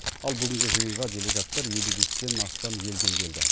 ал бүгінгі жиынға делегаттар елу бестен астам елден келді